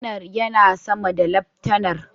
Kanar yana sama da laftanar.